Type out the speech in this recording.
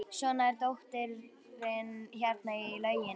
Svo er dóttirin hérna í lauginni.